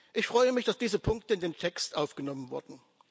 Ich freue mich, dass diese Punkte in den Text aufgenommen wurden.